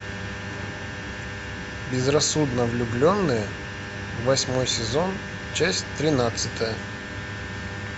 безрассудно влюбленные восьмой сезон часть тринадцатая